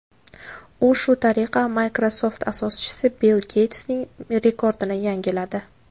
U shu tariqa Microsoft asoschisi Bill Geytsning rekordini yangiladi.